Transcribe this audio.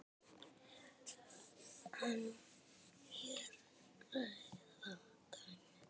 En hér hræða dæmin.